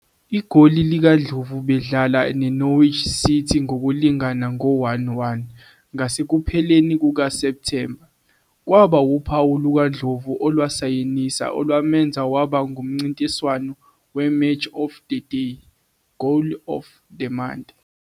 Igoli likaNdlovu bedlala neNorwich City, ngokulingana ngo-1-1 ngasekupheleni kukaSepthemba, kwaba wuphawu lukaNdlovu olwasayinisa olwamenza waba ngumncintiswano weMatch of Day 'Goal of the month'.